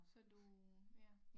Så du ja